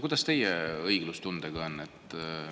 Kuidas teie õiglustundega on?